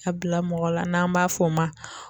A bila mɔgɔ la n'an b'a fɔ o ma